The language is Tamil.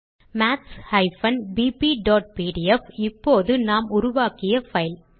maths bpபிடிஎஃப் இப்போது நாம் உருவாக்கிய பைல்